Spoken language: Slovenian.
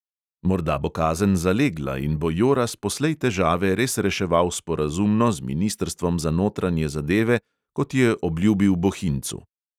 Morda bo kazen zalegla in bo joras poslej težave res reševal sporazumno z ministrstvom za notranje zadeve, kot je obljubil bohincu!